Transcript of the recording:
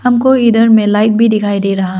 हमको इधर में लाइट भी दिखाई दे रहा।